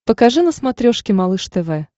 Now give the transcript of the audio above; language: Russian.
покажи на смотрешке малыш тв